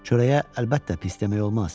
Çörəyə əlbəttə pis demək olmaz.